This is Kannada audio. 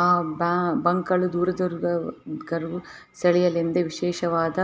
ಆ ಬಾ ಬಂಕ್ ಗಳು ದೂರ ದೂರ ಸೆಳೆಯಲೆಂದೆ ವಿಶೇಷವಾದ